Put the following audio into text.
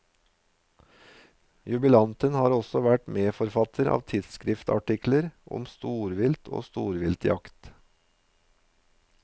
Jubilanten har også vært medforfatter av tidsskriftartikler om storvilt og storviltjakt.